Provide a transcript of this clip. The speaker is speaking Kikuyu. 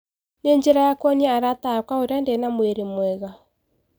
Ni njira ya kũonia arata akwa uria ndina mwiri mwega.